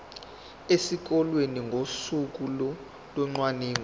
esikoleni ngosuku locwaningo